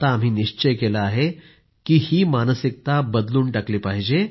आम्ही आता निश्चय केला आहे की ही मानसिकता बदलून टाकली पाहिजे